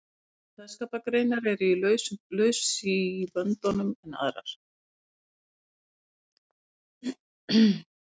Sumar kveðskapargreinar eru lausari í böndunum en aðrar.